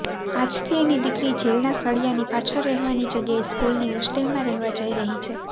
આજથી એની દીકરી જેલના સળીયાની પાછળ રહેવાની જગ્યાએ સ્કૂલની હોસ્ટેલમાં રહેવા જઈ રહી હતી